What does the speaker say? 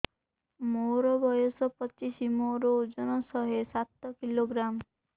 ମୋର ବୟସ ପଚିଶି ମୋର ଓଜନ ଶହେ ସାତ କିଲୋଗ୍ରାମ